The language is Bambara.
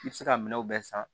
I bɛ se ka minɛnw bɛɛ san